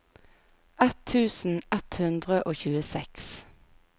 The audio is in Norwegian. ett tusen ett hundre og tjueseks